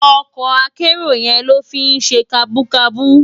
Òkò àkèéró yèn ló fi n sé kàbúkàbú